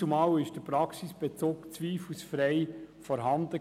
Damals war der Praxisbezug zweifellos vorhanden.